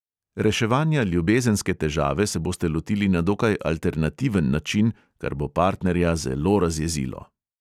Reševanja ljubezenske težave se boste lotili na dokaj alternativen način, kar bo partnerja zelo razjezilo.